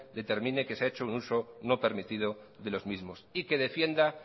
determine que se ha hecho un uso no permitido de los mismos y que defienda